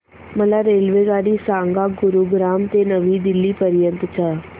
मला रेल्वेगाडी सांगा गुरुग्राम ते नवी दिल्ली पर्यंत च्या